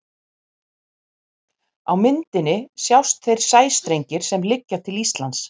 Á myndinni sjást þeir sæstrengir sem liggja til Íslands.